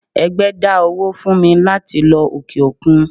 ẹgbẹ dá owó fún mí latí lọ ọke-okún